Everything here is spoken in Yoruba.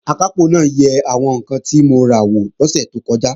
Akápò náà yẹ àwọn ǹkan tí mo ra wò lọ́sẹ̀ tó kọjá